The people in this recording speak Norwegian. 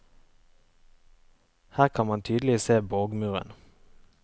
Her kan man tydelig se borgmuren.